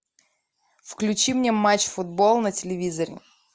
включи мне матч футбол на телевизоре